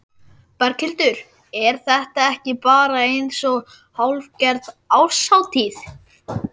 Berghildur: Er þetta ekki bara eins og hálfgerð árshátíð?